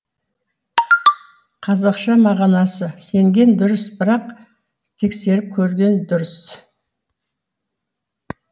қазақша мағынасы сенген дұрыс бірақ тексеріп көрген дұрыс